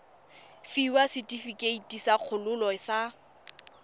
fiwa setefikeiti sa kgololo sa